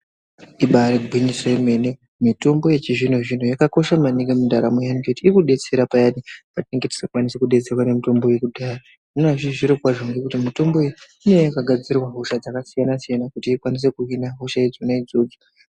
Ibari gwinyiso yemene mutombo yechizvino zvino yakakosha maningi mundaramo yedu ngekuti inodetsera payani patinenge tisingakwanisi kudetseraa nemitombo yekudhaya. Zvinova zviri kwazvo nekuti mitombo iyi inenge yakagadzirwa hosha dzakasiyana siyana kuti ikwanise kuhina hosha idzodzo.